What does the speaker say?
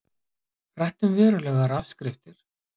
Rætt um verulegar afskriftir